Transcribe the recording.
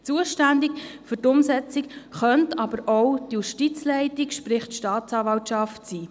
Zuständig für die Umsetzung könnte jedoch auch die Justizleitung, sprich die Staatsanwaltschaft, sein.